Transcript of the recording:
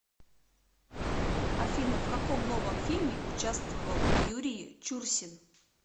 афина в каком новом фильме участвовал юрии чурсин